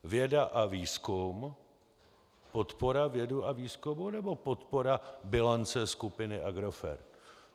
Věda a výzkum, podpora vědy a výzkumu, nebo podpora bilance skupiny Agrofert?